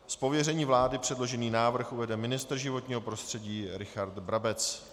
Z pověření vlády předložený návrh uvede ministr životního prostředí Richard Brabec.